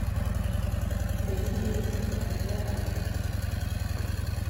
Be in gi buk ma ihero ahinya?